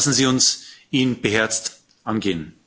Lassen Sie uns ihn beherzt angehen.